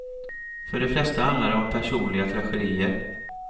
För de flesta handlar det om personliga tragedier.